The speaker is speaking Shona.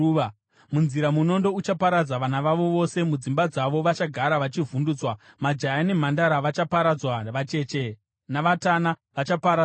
Munzira munondo uchaparadza vana vavo vose; mudzimba dzavo vachagara vachivhundutswa. Majaya nemhandara vachaparadzwa, vacheche navatana vachaparadzwawo.